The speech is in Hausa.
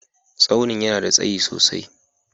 Staunin ya na da tsayi sosai.